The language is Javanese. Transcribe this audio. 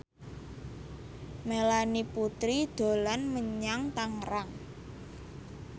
Melanie Putri dolan menyang Tangerang